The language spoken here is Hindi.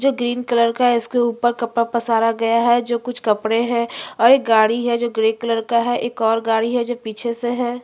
जो ग्रीन कलर का है इसके ऊपर कपड़ा पसारा गया है जो कुछ कपड़े है और एक गाड़ी है जो ग्रे कलर का है और एक और गाड़ी है जो पीछे से है।